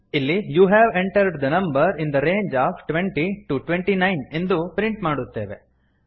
ಇಲ್ಲಿ you have entered the number in the range of twenty to twenty nine ಎಂದು print ಮಾಡುತ್ತೇವೆ